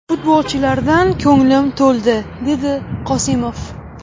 Futbolchilardan ko‘nglim to‘ldi”, − dedi Qosimov.